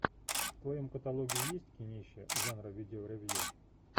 в твоем каталоге есть кинище жанра видео ревью